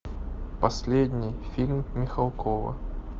последний фильм михалкова